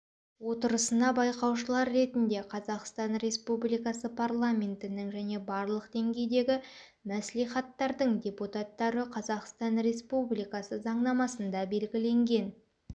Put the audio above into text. отырысына байқаушылар ретінде қазақстан республикасы парламентінің және барлық деңгейдегі мәслихаттардың депутаттары қазақстан республикасы заңнамасында белгіленген